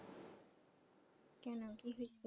কেন কি হয়েছে?